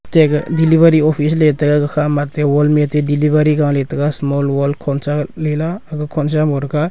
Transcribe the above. atte aga delivery office le tega ga khama atte wall ma aate delivery gaaley taga tega small world khonsa lela aga khonsa mau thaga.